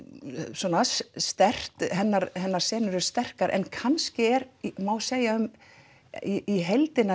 svona sterkt hennar hennar senur eru sterkar en kannski er má segja um í heildina